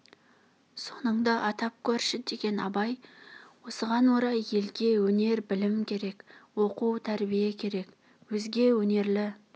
соныңды атап көрші деген абай осыған орай елге өнер білім керек оқу тәрбие керек өзге өнерлі